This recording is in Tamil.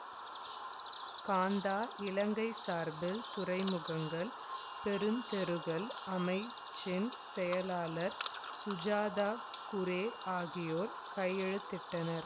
காந்தா இலங்கை சார்பில் துறைமுகங்கள் பெருந்தெருக்கள் அமைச்சின் செயலாளர் சுஜாதா குரே ஆகியோர் கையெழுத்திட்டனர்